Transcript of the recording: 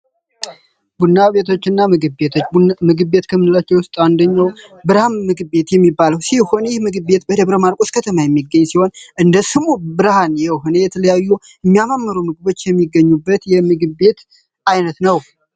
ቡና ቤቶች እና ምግብ ቤቶች ምግብ ቤት ከምንላቸው ዉስጥ አደኛው ብርሃን ምግብ ቤት ሲሆን ይህ ምግብ ቤት በደብረ ማርቆስ ከተማ የሚገኝ ሲሆን እንደ ስሙም ብርሃን የሆነ የተለያዩ ሚ ያማምሩ ምግቦች ሚገኙበት የ ምግብ ቤት አይነት ነው ።